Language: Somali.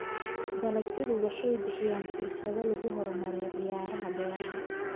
Dalagyadu waxay bixiyaan fursado lagu horumariyo ciyaaraha beeraha.